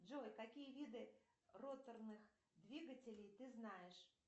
джой какие виды роторных двигателей ты знаешь